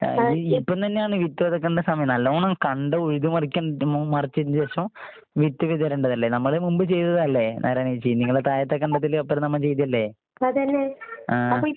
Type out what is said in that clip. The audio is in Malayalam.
ആഹ് ഈ ഇപ്പം തന്നെയാണ് വിത്ത് വിതയ്ക്കണ്ട സമയം. നല്ലോണം കണ്ടം ഉഴുത് മറിക്കാൻ മു മറിച്ചേന് ശേഷം വിത്ത് വിതരണ്ടതല്ലേ. നമ്മള് മുമ്പ് ചെയ്തതല്ലേ നാരായണിയേച്ചി. നിങ്ങളെ താഴുത്തെ കണ്ടത്തില് ഒപ്പനെ നമ്മള് ചെയ്തതല്ലേ? ആഹ്.